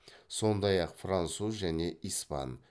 сондай ақ француз және испан